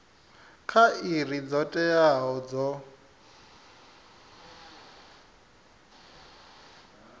kha iri dzo teaho dzo